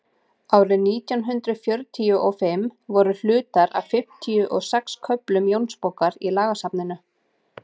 árið nítján hundrað fjörutíu og fimm voru hlutar af fimmtíu og sex köflum jónsbókar í lagasafninu